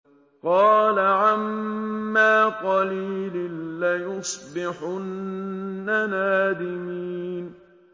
قَالَ عَمَّا قَلِيلٍ لَّيُصْبِحُنَّ نَادِمِينَ